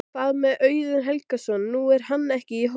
Hvað með Auðun Helgason, nú er hann ekki í hópnum?